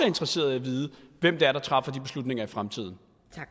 interesseret i at vide hvem der træffer de beslutninger i fremtiden